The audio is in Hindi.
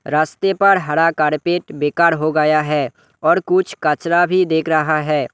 रास्ते पर हरा कारपेट बेकार हो गया है और कुछ कचरा भी दिख रहा है।